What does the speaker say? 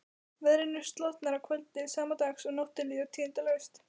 Veðrinu slotar að kvöldi sama dags og nóttin líður tíðindalaust.